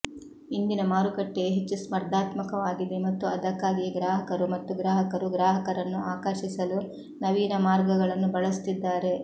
ಇಂದಿನ ಮಾರುಕಟ್ಟೆಯು ಹೆಚ್ಚು ಸ್ಪರ್ಧಾತ್ಮಕವಾಗಿದೆ ಮತ್ತು ಅದಕ್ಕಾಗಿಯೇ ಗ್ರಾಹಕರು ಮತ್ತು ಗ್ರಾಹಕರು ಗ್ರಾಹಕರನ್ನು ಆಕರ್ಷಿಸಲು ನವೀನ ಮಾರ್ಗಗಳನ್ನು ಬಳಸುತ್ತಿದ್ದಾರೆ